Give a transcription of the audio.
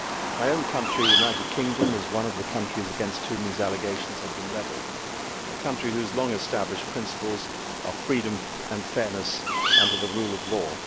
My own country, the United Kingdom, is one of the countries against whom these allegations have been levelled, a country whose long established principles are freedom and fairness under the rule of law.